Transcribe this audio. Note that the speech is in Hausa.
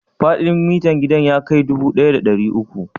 Faɗin gidan ya kai mita dubu ɗaya da ɗari uku?